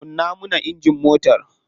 Kunna mana injin matar.